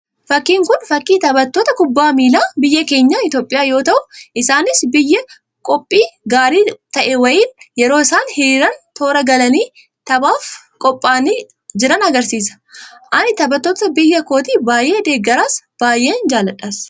Fakkiin Kun, fakkii taphattoota kubbaa miilaa, biyya keenya Itoophiyaa yoo ta'u, isaanis biyya qophii gaarii ta'e wayiin yeroo isaan hiriiranii toora galanii, taphaaf qophaa'anii jiran argisiisa. Ani taphattoota biyya kootii baayyee deeggaras, baayyeen jaalladhan.